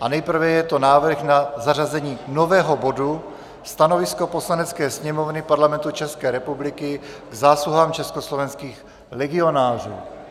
a nejprve je to návrh na zařazení nového bodu Stanovisko Poslanecké sněmovny Parlamentu České republiky k zásluhám československých legionářů.